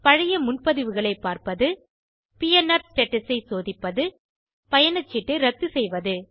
பழைய முன்பதிவுகளை பார்ப்பது பிஎன்ஆர் ஸ்டேட்டஸ் ஐ சோதிப்பது பயணச்சீட்டை ரத்து செய்வது